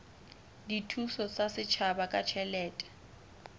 dithuso tsa setjhaba ka ditjhelete